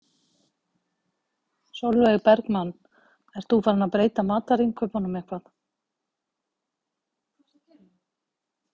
Sólveig Bergmann: Ert þú farinn að breyta matarinnkaupunum eitthvað?